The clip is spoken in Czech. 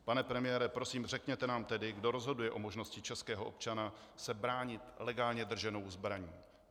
Pane premiére, prosím, řekněte nám tedy, kdo rozhoduje o možnosti českého občana se bránit legálně drženou zbraní.